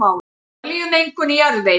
Olíumengun í jarðvegi